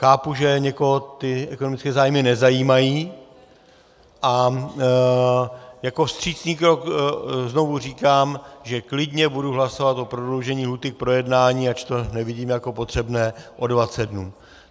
Chápu, že někoho ty ekonomické zájmy nezajímají, a jako vstřícný krok znovu říkám, že klidně budu hlasovat o prodloužení lhůty k projednání, ač to nevidím jako potřebné, o 20 dnů.